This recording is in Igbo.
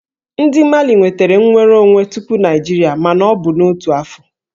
Ndị Mali nwetara nnwere onwe tupu Naịjirịa mana ọ bụ n'otu afọ